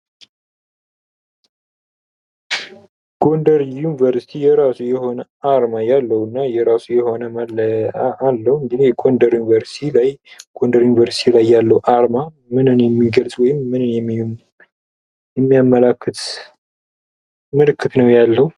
ጎንደር ዩኒቨርሲቲ የራሱ የሆነ አርማ ያለውና የራሱ የሆነ መለያ ያለው እንግዲህ ጎንደር ዩኒቨርስቲ ላይ ያለው አርማ ምንም የሚገልጽ ወይም ምንን የሚያመላክት ምልክት ነው ያለው።